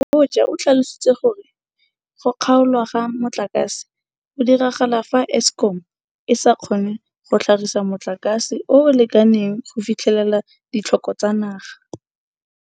Mabotja o tlhalositse gore go kgaolwa ga motlakase go diragala fa Eskom e sa kgone go tlhagisa motlakase o o lekaneng go fitlhelela ditlhoko tsa naga.